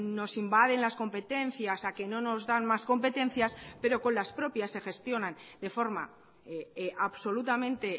nos invaden las competencias a que no nos dan más competencias pero con las propias se gestionan de forma absolutamente